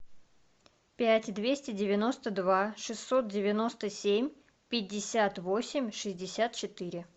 пять двести девяносто два шестьсот девяносто семь пятьдесят восемь шестьдесят четыре